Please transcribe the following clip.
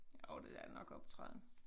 Jo det er nok optræden